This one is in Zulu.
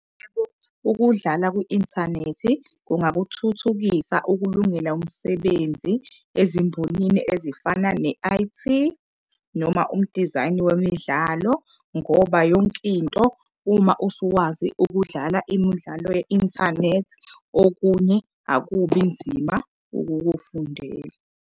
Ukudlala kwi-inthanethi kungabuthuthukisa ukulungela umsebenzi ezimbonini ezifana ne-I_T noma umudizayino wemidlalo. Ngoba yonkinto uma usuwazi ukudlala imudlalo ye-inthanethi, okunye akubi nzima ukukufundela.